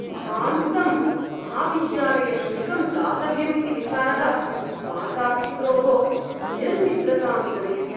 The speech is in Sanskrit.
महान्तं महाविद्यालयशुल्कं दातव्यम् इति विचारः मातापित्रोः निर्निद्रतां जनयति।